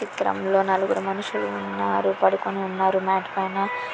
ఈ చిత్రంలో నలుగురు మనుషులు ఉన్నారు పడుకుని ఉన్నారు మాట్ పైన .